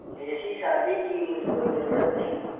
ऐसी शादी की मुझको जरूरत नहीं